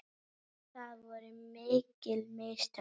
Það voru mikil mistök.